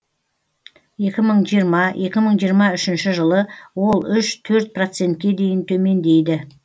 екі мың жиырма екі мың жиырма үшінші жылы ол үш төрт процентке дейін төмендейді